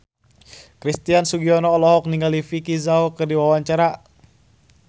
Christian Sugiono olohok ningali Vicki Zao keur diwawancara